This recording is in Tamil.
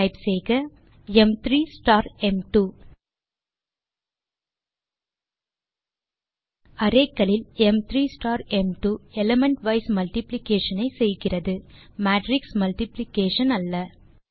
டைப் செய்க ம்3 ஸ்டார் ம்2 அரே களில் ம்3 ஸ்டார் ம்2 எலிமெண்ட் வைஸ் மல்டிப்ளிகேஷன் ஐ செய்கிறது மேட்ரிக்ஸ் மல்டிப்ளிகேஷன் ஐ அல்ல